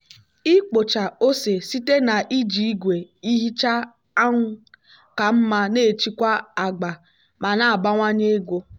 ikpocha ose site na iji igwe ihicha anwụ ka mma na-echekwa agba ma na-abawanye ego.